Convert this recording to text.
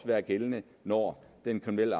være gældende når den kriminelle